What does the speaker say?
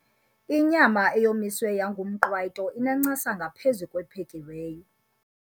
Inyama eyomiswe yangumqwayito inencasa ngaphezu kwephekiweyo.